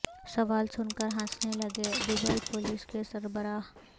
سوال سن کر ہنسنے لگے دبئی پولیس کے سربراہ